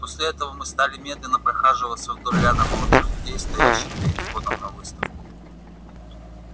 после этого мы стали медленно прохаживаться вдоль ряда молодых людей стоящих перед входом на выставку